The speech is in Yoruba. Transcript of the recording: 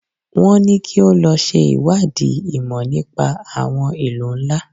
Wọ́n ní kí o lọ ṣe ìwádìí ìmọ̀ nípa àwọn ìlú ńlá.